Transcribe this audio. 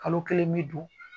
Kalo kelen mi don